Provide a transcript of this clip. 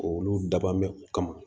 Olu daban bɛ kama